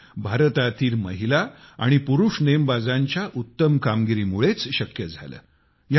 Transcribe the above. हे भारतातील महिला व पुरुष नेमबाजांच्या उत्तम कामगिरीमुळेच शक्य झाले